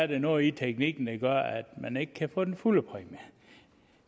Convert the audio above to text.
der noget i teknikken der gør at man ikke kan få den fulde præmie